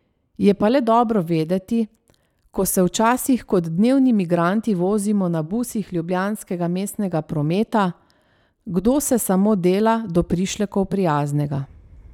Je pa le dobro vedeti, ko se včasih kot dnevni migranti vozimo na busih ljubljanskega mestnega prometa, kdo se samo dela do prišlekov prijaznega.